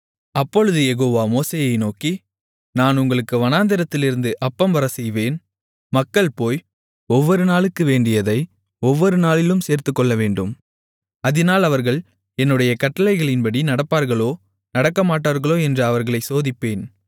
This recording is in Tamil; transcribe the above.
அப்பொழுது யெகோவா மோசேயை நோக்கி நான் உங்களுக்கு வானத்திலிருந்து அப்பம் வரச்செய்வேன் மக்கள் போய் ஒவ்வொரு நாளுக்கு வேண்டியதை ஒவ்வொரு நாளிலும் சேர்த்துக்கொள்ளவேண்டும் அதினால் அவர்கள் என்னுடைய கட்டளையின்படி நடப்பார்களோ நடக்கமாட்டார்களோ என்று அவர்களைச் சோதிப்பேன்